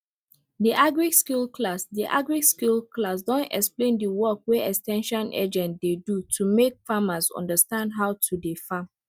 the agriskill class the agriskill class don explain the work wey ex ten sion agent dey do to make farmers understand how to dey farm